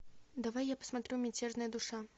давай я посмотрю мятежная душа